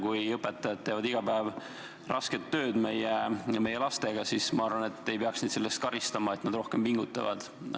Kui õpetajad teevad iga päev rasket tööd meie lastega, siis ma arvan, et ei peaks neid selle eest karistama, et nad rohkem pingutavad.